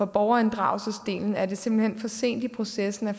borgerinddragelsesdelen er det simpelt hen for sent i processen at